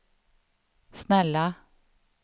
snälla